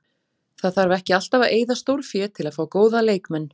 Það þarf ekki alltaf að eyða stórfé til að fá góða leikmenn.